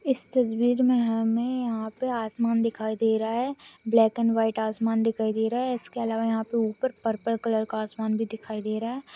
इस तस्वीर में हमें यहाँ पर आसमान दिखाई दे रहा है ब्लैक एंड व्हाइट आसमान दिखाई दे रहा है इसके अलावा यहाँ पर ऊपर पर्पल कलर का आसमान भी दिखाई दे रहा है।